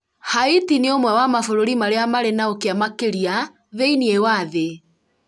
Haiti nĩ ũmwe wa mabũrũri marĩa marĩ na ũkĩa makĩria thĩiniĩ wa thĩ